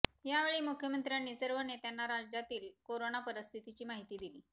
यावेळी मुख्यमंत्र्यांनी सर्व नेत्यांना राज्यातील करोना परिस्थितीची माहिती दिली